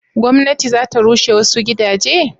gwamnati za ta rushe wasu gidaje?